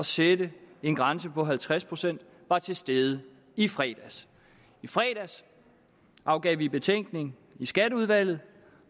sætte en grænse på halvtreds procent var til stede i fredags i fredags afgav vi betænkning i skatteudvalget